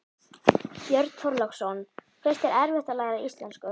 Björn Þorláksson: Finnst þér erfitt að læra íslensku?